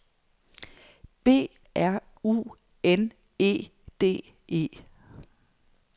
B R U N E D E